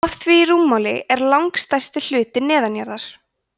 af því rúmmáli er langstærsti hlutinn neðanjarðar